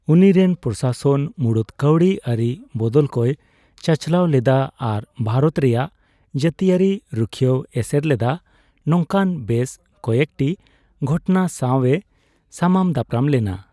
ᱩᱱᱤ ᱨᱮᱱ ᱯᱨᱚᱥᱟᱥᱚᱱ ᱢᱩᱬᱩᱫ ᱠᱟᱹᱣᱰᱤ ᱟᱹᱨᱤ ᱵᱚᱫᱚᱞᱠᱚᱭ ᱪᱟᱪᱞᱟᱣ ᱞᱮᱫᱟ ᱟᱨ ᱵᱷᱟᱨᱚᱛ ᱨᱮᱭᱟᱜ ᱡᱟᱹᱛᱤᱭᱟᱹᱨᱤ ᱨᱩᱠᱷᱤᱭᱟᱹᱭ ᱮᱥᱮᱨ ᱞᱮᱫᱟ ᱱᱚᱝᱠᱟᱱ ᱵᱮᱥ ᱠᱚᱭᱮᱠᱴᱤ ᱜᱷᱚᱴᱚᱱᱟ ᱥᱟᱣᱮ ᱥᱟᱢᱟᱝ ᱫᱟᱯᱨᱟᱢ ᱞᱮᱱᱟ ᱾